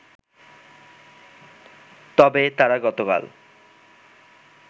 তবে তারা গতকাল